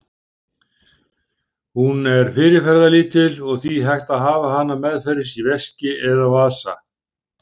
Hún er fyrirferðarlítil og því hægt að hafa hana meðferðis í veski eða vasa.